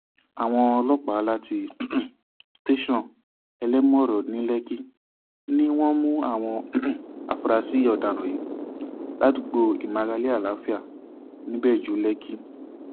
àwọn ọlọpàá láti um tẹsán elémọrọ ní lẹkí ni wọn mú àwọn um afurasí ọdaràn yìí ládùúgbò ìmárale àlàáfíà ńibẹjú lẹkì